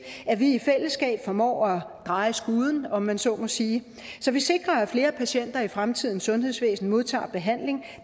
at vi i fællesskab formår at dreje skuden om man så må sige så vi sikrer at flere patienter i fremtidens sundhedsvæsen modtager behandling